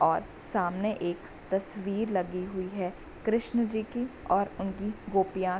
और सामने एक तस्वीर लगी हुई है कृष्ण जी की और उनकी गोपियां --